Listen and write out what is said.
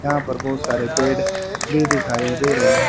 यहां पर बहुत सारे पेड़ भी दिखाई दे रहे हैं।